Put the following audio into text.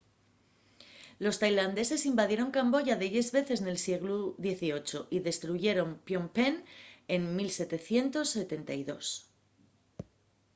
los tailandeses invadieron camboya delles veces nel sieglu xviii y destruyeron phnom penh en 1772